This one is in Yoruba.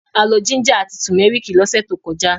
A lọ jíńjà àti tùmẹ́rìkì lọ́sẹ̀ tó kọjá.